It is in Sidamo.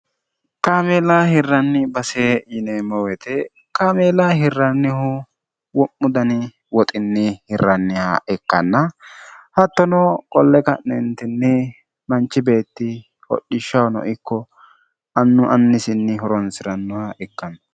qaamiila hirranni basee yineemmowete kaamiela hirrannihu wo'mu dani woxinni hirranniha ikkanna hattono qolle ka'neentinni manchi beetti hodhishshahano ikko annu annisinni horonsi'rannoha ikkanno